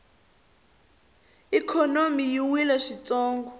ikhonomi yi wile swintsongo